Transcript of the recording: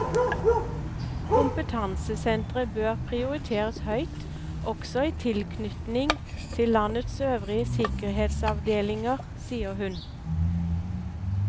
Kompetansesentre bør prioriteres høyt også i tilknytning til landets øvrige sikkerhetsavdelinger, sier hun.